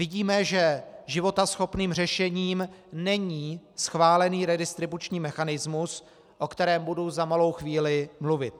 Vidíme, že životaschopným řešením není schválený redistribuční mechanismus, o kterém budu za malou chvíli mluvit.